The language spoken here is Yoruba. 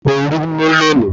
Orú mú lonìí